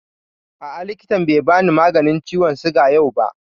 A'a, likitan bai bani maganin ciwon suga yau ba